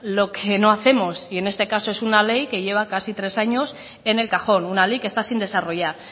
lo que no hacemos y en este caso es una ley que lleva casi tres años en el cajón una ley que está sin desarrollar